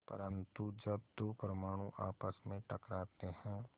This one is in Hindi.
परन्तु जब दो परमाणु आपस में टकराते हैं